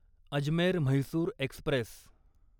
Ajmer Mysore Express